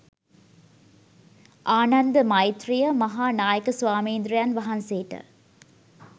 ආනන්ද මෛත්‍රෙය මහා නායක ස්වාමීන්ද්‍රයන් වහන්සේට